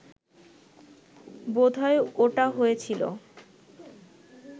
বোধহয় ওটা হয়েছিল